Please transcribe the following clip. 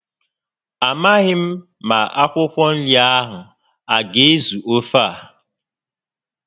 Amaghị m ma akwụkwọ nri a aga ezu ofe a